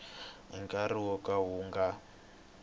nkarhi wo ka wu nga